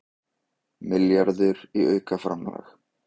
Milljarður í aukaframlag